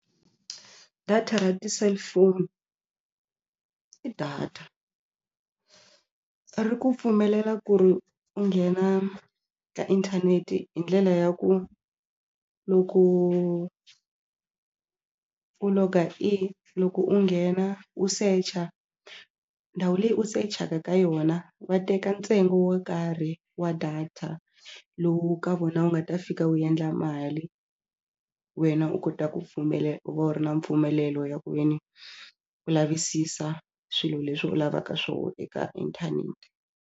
Data ra ti-cellphone i data ri ku pfumelela ku ri u nghena ka inthaneti hi ndlela ya ku loko u log-a in loko u nghena u secha ndhawu leyi u search-aka ka yona va teka ntsengo wo karhi wa data lowu ka vona wu nga ta fika wu endla mali wena u kota ku u va u ri na mpfumelelo ya ku ve ni u lavisisa swilo leswi u lavaka swona eka inthanete.